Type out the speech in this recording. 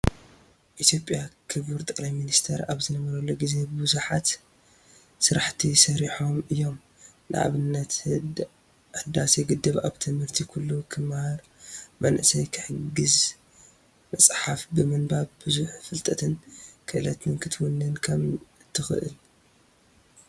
ኢትዮጰያ ክቡር ጠቅላይ ሚንስተር ኣብ ዝነበርሉ ግዜ ቡዙሓት ስራሕቲ ሰሪሖም እዮም። ንኣብነት፦ ህዳዴ ግድብ፣ ኣብ ትምህርቲ ኩሉ ክመሃር፣ መናእሰይ ክሕግዝ፣ መፅሓፍ ብምንባብ ብዙሕ ፍልጠትን ክእለት ክትውንን ከም እትክእል።